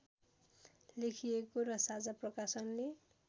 लेखिएको र साझा प्रकाशनले